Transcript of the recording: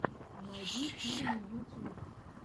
найди фильмы ютюб